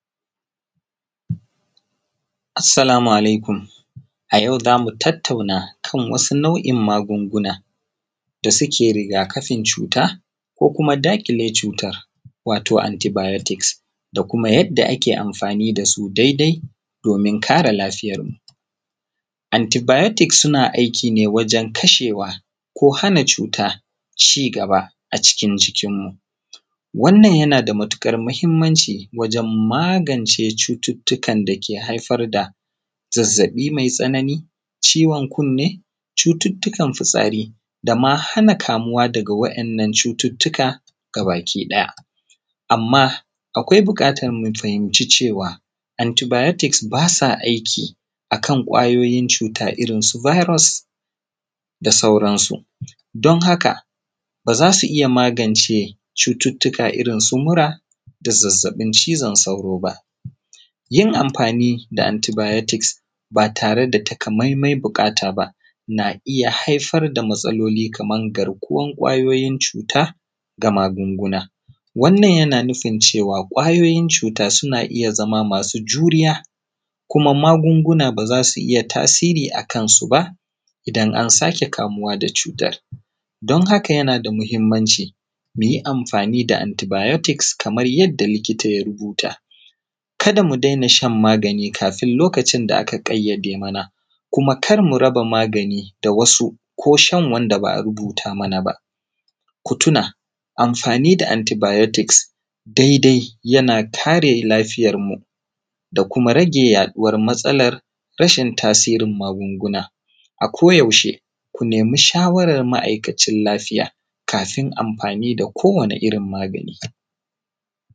Assalamu alaikum ayau zamu tattauna kan wasu nau’in magunguna da suke rigakafin cuta, ko kuma daƙile cutan wato (anti bayotiks), da kuma yadda ake amfani da su daidai, domin kare lafiyarmu. Anti bayotiks suna aiki ne wajen kashewa, ko hana cuta ci gaba a cikin jikinmu, wannan yana da matuƙar muhimmanci wajen magance cuttutukan dake haifar da zazzaɓi mai tsanani, ciwon kunne, cututtukan fitsari dama hana kamuwa daga wa’innan cututtuka gabaki ɗaya. Amma akwai buƙatan mu fahimci cewa, anti bayotiks basa aiki akan ƙwayoyin cuta irin su biros, da sauransu, don haka baza su iya magance cututtuka irin su mura, da zazzaɓin cizon sauro ba. Yin amfani da anti biyotiks ba tare da takaimaimai buƙata ba na iya haifar da matsaloli, kamar garkuwan ƙwayoyin cuta ga magunguna, wannan yana nufin cewa ƙwayoyin cuta suna iya zama masu juriya, kuma magunguna ba za su iya tasiri akan su ba idan an sake kamuwa da cutan, don haka yana muhimmanci mu yi amfani da anti boyotiks kaman yarda likita ya rubuta, kada mu daina shan magani kafin lokacin da aka gayyade mana, kuma kar mu raba magani da wasu ko shan wanda ba a rubuta mana ba. Ku tuna amfani da anti bayotiks daidai yana kare lafiyarmu da kuma rage yaɗuwar matsalar rashin tasirin magunguna. A ko yaushe ku nemi shawaran ma’aikacin lafiya kafin amfani da kowani irin magani.